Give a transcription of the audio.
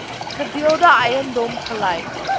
gedeelde eiendom gelyk